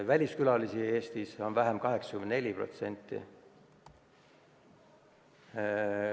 Väliskülalisi on Eestis 84% vähem.